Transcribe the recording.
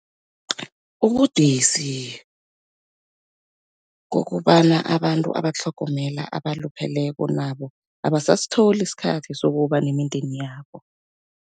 Ubudisi kukobana abantu abatlhogomela abalupheleko, nabo abasasitholi isikhathi sokuba nemindeni yabo.